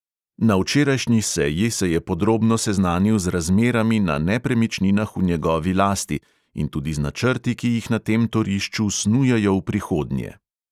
Na včerajšnji seji se je podrobno seznanil z razmerami na nepremičninah v njegovi lasti in tudi z načrti, ki jih na tem torišču snujejo v prihodnje.